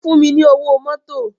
Fún mi ni ówó mòtó